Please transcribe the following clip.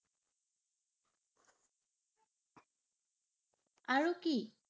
আৰু কি?